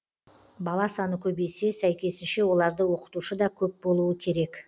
бала саны көбейсе сәйкесінше оларды оқытушы да көп болуы керек